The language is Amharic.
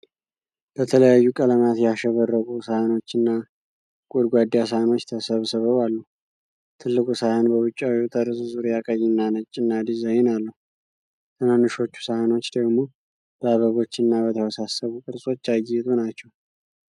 በተለያዩ ቀለማት ያሸበረቁ ሰሃኖችና ጎድጓዳ ሳህኖች ተሰብስበው አሉ። ትልቁ ሳህን በውጫዊው ጠርዝ ዙሪያ ቀይና ነጭና ዲዛይን አለው። ትንንሾቹ ሳህኖች ደግሞ በአበቦችና በተወሳሰቡ ቅርጾች ያጌጡ ናቸው።